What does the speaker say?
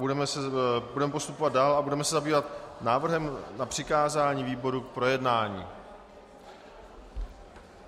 Budeme postupovat dál a budeme se zabývat návrhem na přikázání výborům k projednání.